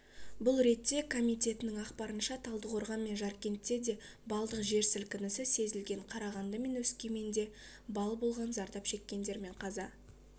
бұл ретте комитетінің ақпарынша талдықорған мен жаркентте де балдық жер сілкінісі сезілген қарағанды мен өскеменде балл болған зардап шеккендер мен қаза